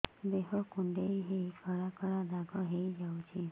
ଦେହ କୁଣ୍ଡେଇ ହେଇ କଳା କଳା ଦାଗ ହେଇଯାଉଛି